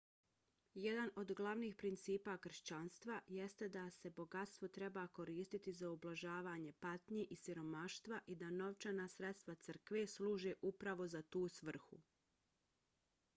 jedan od glavnih principa kršćanstva jeste da se bogatstvo treba koristiti za ublažavanje patnje i siromaštva i da novčana sredstva crkve služe upravo za tu svrhu